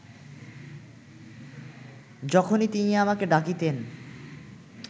যখনই তিনি আমাকে ডাকিতেন